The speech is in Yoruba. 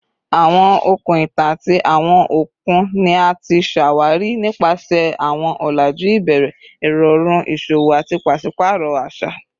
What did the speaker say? Awọn okun itan ati awọn okun ni a ti ṣawari nipasẹ awọn ọlaju ibẹrẹ, irọrun iṣowo ati paṣipaarọ aṣa